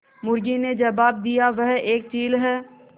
मुर्गी ने जबाब दिया वह एक चील है